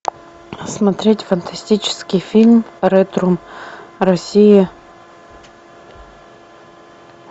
смотреть фантастический фильм ретрум россия